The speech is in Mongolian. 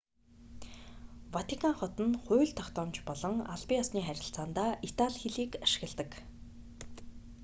ватикан хот нь хууль тогтоомж болон албан ёсны харилцаандаа итали хэлийг ашигладаг